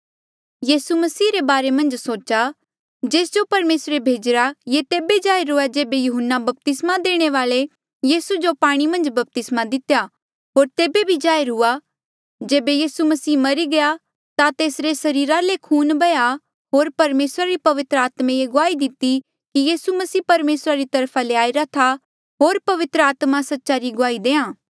यीसू मसीह रे बारे मन्झ सोचा जेस जो परमेसरे भेजीरा ये तेबे जाहिर हुआ जेबे यहून्ना बपतिस्मा देणे वाल्ऐ यीसू जो पाणी मन्झ बपतिस्मा दितेया होर तेबे भी जाहिर हुआ जेबे यीसू मसीह मरी गया ता तेसरे सरीरा ले खून बैह्या होर परमेसरा री पवित्र आत्मे ये गुआही दिती कि यीसू मसीह परमेसरा री तरफा ले आईरा था होर पवित्र आत्मा सच्चा री गुआही देआ